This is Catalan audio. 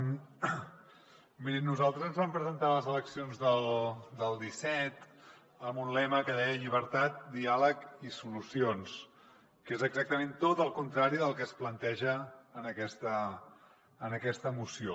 mirin nosaltres ens vam presentar a les eleccions del disset amb un lema que deia llibertat diàleg i solucions que és exactament tot el contrari del que es planteja en aquesta moció